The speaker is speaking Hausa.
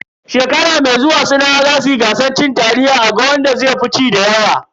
Shekara mai zuwa sinawa zasu yi gasar cin taliya a ga wanda zai fi ci dayawa.